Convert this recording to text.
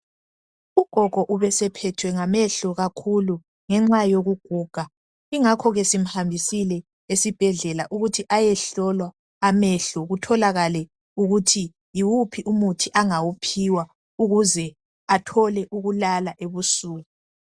Ugogo ubesephethwe ngamehlo kakhulu ngenxa yokuguga, ingakho ke simhambisile esibhedlela ukuthi ayehlolwa amehlo kutholakale ukuthi yiwuphi umuthi angawuphiwa ukuze athole ukulala ebusuku.